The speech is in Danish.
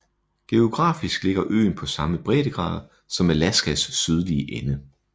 Geografisk ligger øen på samme breddegrad som Alaskas sydlige ende